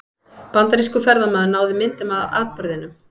Bandarískur ferðamaður náði myndum af atburðinum